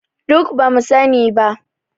Duk ba mu sani ba